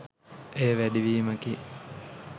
එය වැඩිවීමකි